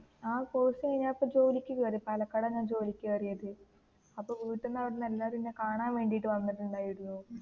ആ കോഴ്സ് കഴിഞ്ഞു ഞാൻ ഇപ്പോ ജോലിക്കു കേറി പാലക്കാട് തന്നേ ജോലിക്കു കേറിയത്, അപ്പോൾ വീട്ടിനു അവിടുന്ന് എല്ലാരും എന്നെ കാണാൻ വേണ്ടിട്ട് വന്നിട്ട് ഉണ്ടായിരുന്നു.